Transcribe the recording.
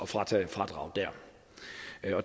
fratage fradraget det